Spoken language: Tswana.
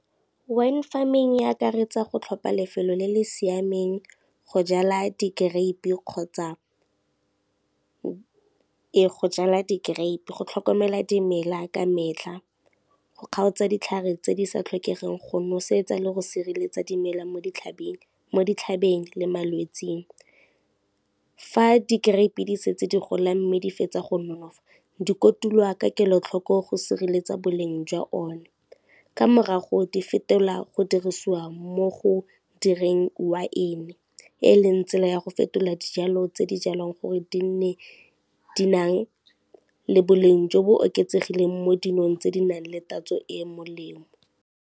Wine farming e akaretsa go tlhopha lefelo le le siameng go jala di-grape kgotsa e go jala di-grape, go tlhokomela dimela ka metlha, go kgaotsa ditlhare tse di sa tlhokegeng, go nosetsa le go sireletsa dimela mo ditlhabeng le malwetseng. Fa di-grape di setse di gola mme di fetsa go nonofa di kotulwa ka kelotlhoko go sireletsa boleng jwa one, ka morago di fetela go dirisiwa mo go direng waene e leng tsela ya go fetola dijalo tse di jalwang gore di nang le boleng jo bo oketsegileng mo dinong tse di nang le tatso e e molemo.